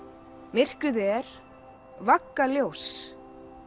myrkrið er vagga ljóss